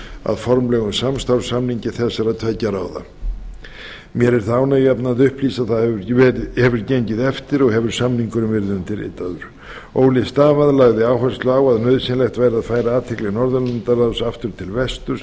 að formlegum samstarfssamningi þessara tveggja ráða mér er það ánægjuefni að upplýsa að það hefur gengið eftir og hefur samningurinn verið undirritaður ole stavad lagði áherslu á að nauðsynlegt væri að færa athygli norðurlandaráðs aftur til vesturs